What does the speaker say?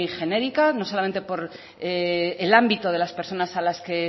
genérica no solamente por el ámbito de las personas a las que